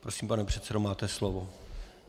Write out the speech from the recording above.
Prosím, pane předsedo, máte slovo.